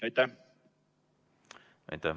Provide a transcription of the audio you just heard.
Aitäh!